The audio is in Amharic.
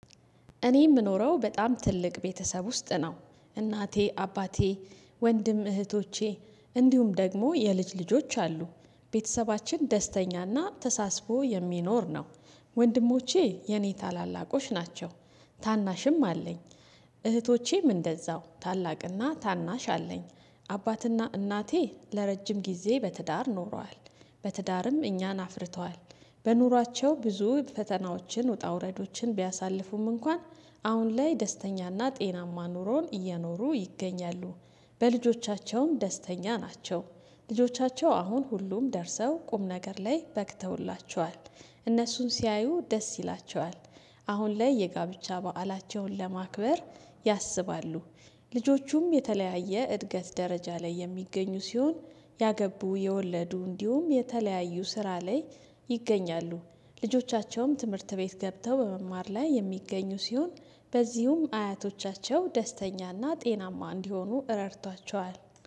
እኔ የምኖረው በጣም ትልቅ ቤተሰብ ውስጥ ነው እናቴ አባቴ ወንድም እህቶቼ እንዲሁም ደግሞ የልጅ ልጆች አሉ ቤተሰባችን ደስተኛና ተሳስቦ የሚኖር ነው። ወንድሞቼ የኔ ታላላቆች ናቸው። ታናሽም አለኝ። እህቶቼም እንደዛው ታላቅና ታናሽ አለኝ። አባትና እናቴ ለረጅም ጊዜ በትዳር ኖሯል በትዳርም እኛን አፍርተዋል። በኑሯቸው ብዙ ፈተናዎችን ውጣ ውረዶችን ቢያሳልፉም እንኳን አሁን ላይ ደስተኛና ጤናማ ኑሮን እየኖሩ ይገኛሉ። በልጆቻቸውም ደስተኛ ናቸው። ልጆቻቸው አሁን ሁሉም ደርሰው ቁም ነገር ላይ በቅተውላቸዋል። እነሱን ሲያዩ ደስ ይላቸዋል። አሁን ላይ የጋብቻ በዓላቸውን ለማክበር ያስባሉ። ልጆቹም የተለያየ እድገት ደረጃ ላይ የሚገኙ ሲሆን ያገቡ የወለዱ እንዲሁም የተለያዩ ስራ ላይ ይገኛሉ። ልጆቻቸውም ትምህርት ቤት ገብተው በመማር ላይ የሚገኙ ሲሆን በዚሁም አያቶቻቸው ደስተኛና ጤናማ እንዲሆኑ ረድቷቸዋል